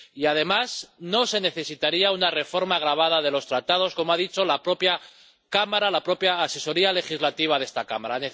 Y, además, no se necesitaría una reforma agravada de los Tratados, como ha dicho la propia Cámara, la propia asesoría jurídica de esta Cámara.